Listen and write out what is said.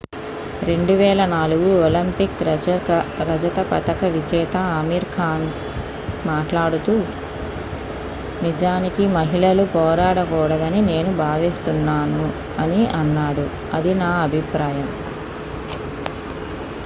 "2004 Olympic రజత పతక విజేత అమీర్ ఖాన్ మాట్లాడుతూ "నిజానికి మహిళలు పోరాడకూడదని నేను భావిస్తున్నాను. అని అన్నాడు. అది నా అభిప్రాయం. "